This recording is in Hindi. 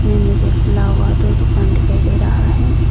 मुझे खुला हुआ दो दुकान दिखाई दे रहा है।